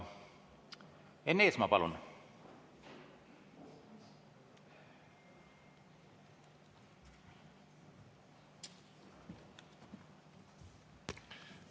Enn Eesmaa, palun!